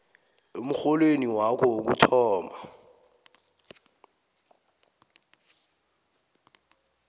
emrholweni wakho wokuthoma